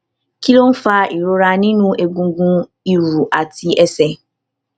kí ló ń fa ìrora nínú egungun ìrù àti àti ẹsẹ